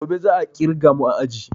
Gobe za a ƙirga mu a aji